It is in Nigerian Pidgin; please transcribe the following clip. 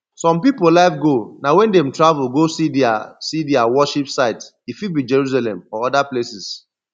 some pipo life goal na when dem travel go see their see their worship site e fit be jerusalem or oda places